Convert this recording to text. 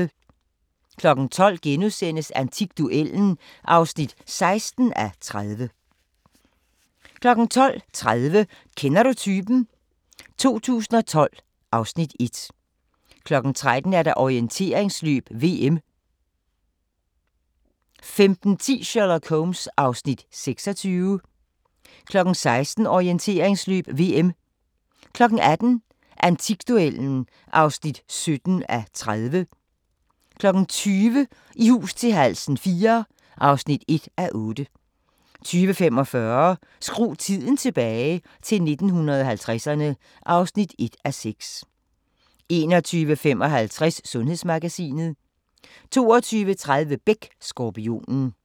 12:00: Antikduellen (16:30)* 12:30: Kender du typen? 2012 (Afs. 1) 13:00: Orienteringsløb: VM 15:10: Sherlock Holmes (Afs. 26) 16:00: Orienteringsløb: VM 18:00: Antikduellen (17:30) 20:00: I hus til halsen IV (1:8) 20:45: Skru tiden tilbage – til 1950'erne (1:6) 21:55: Sundhedsmagasinet 22:30: Beck: Skorpionen